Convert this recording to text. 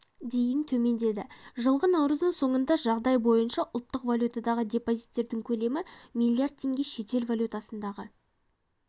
дейін төмендеді жылғы наурыздың соңындағы жағдай бойынша ұлттық валютадағы депозиттердің көлемі млрд теңге шетел валютасындағы